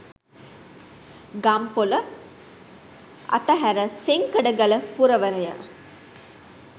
ගම්පොළ අතහැර සෙංකඩගල පුරවරය